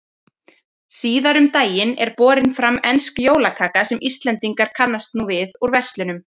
Síðar um daginn er borin fram ensk jólakaka sem Íslendingar kannast nú við úr verslunum.